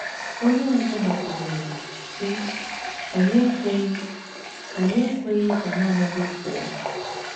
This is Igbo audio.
Onye ọzọ gbakwụnyere, sị: “ Anyị ekweghị Anyị ekweghị ka nanị gị pụọ.